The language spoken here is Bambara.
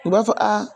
U b'a fɔ a